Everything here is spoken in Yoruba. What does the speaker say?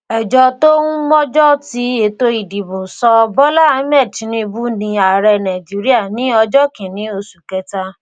ejò tó ún mọjọ tí ètò ìdìbò sọ bola ahmed tinubu ni ààrẹ nàìjíríà ní ọjọ kìíní oṣù kẹta